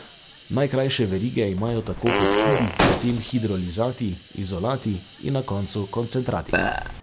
Najkrajše verige imajo tako peptidi, potem hidrolizati, izolati in na koncu koncentrati.